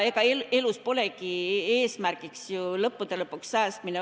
Ega elus polegi ju lõppude lõpuks ainus eesmärk säästmine.